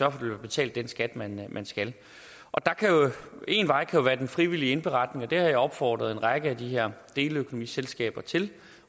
at der bliver betalt den skat man man skal én vej kan være den frivillige indberetning og det har jeg opfordret en række af de her deleøkonomiselskaber til